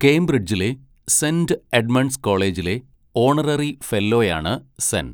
കേംബ്രിഡ്ജിലെ Saint Edmund's കോളേജിലെ honorary ഫെല്ലോയാണ് സെൻ.